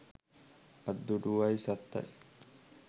අත් දුටුවයි සත්තයි